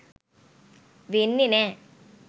වෙන්නෙ නෑ